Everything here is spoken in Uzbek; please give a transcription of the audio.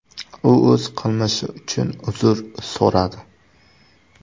U o‘z qilmishi uchun uzr so‘radi.